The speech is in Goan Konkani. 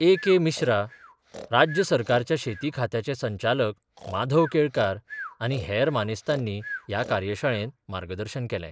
ए के मिश्रा, राज्य सरकाराच्या शेती खात्याचे संचालक माधव केळकार आनी हेर मानेस्तांनी ह्या कार्यशाळेंत मार्गदर्शन केलें.